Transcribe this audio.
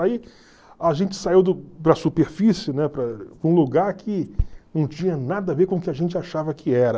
Aí a gente saiu do para a superfície, né, para um lugar que não tinha nada a ver com o que a gente achava que era.